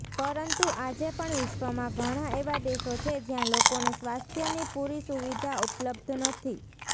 પરંતુ આજે પણ વિશ્વમાં ઘણાં એવા દેશો છે જ્યા લોકોને સ્વાસ્થ્યની પુરી સુવિધા ઉપલ્બ્ધ નથી